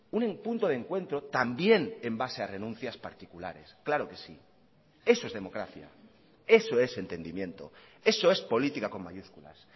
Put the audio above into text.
un punto de encuentro también en base a renuncias particulares claro que sí eso es democracia eso es entendimiento eso es política con mayúsculas